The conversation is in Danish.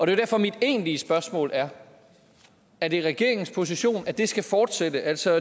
derfor mit egentlige spørgsmål er er det regeringens position at det skal fortsætte altså